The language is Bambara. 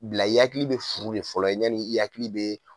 Bila yakili bɛ furu de fɔlɔ ɲani yakili bɛ.